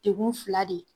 Degun fila de ye